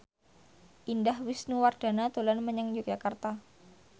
Indah Wisnuwardana dolan menyang Yogyakarta